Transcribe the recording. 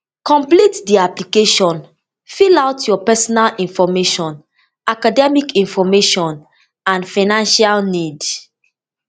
complete di application fill out your personal information academic information and financial need